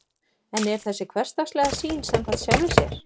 en er þessi hversdagslega sýn samkvæm sjálfri sér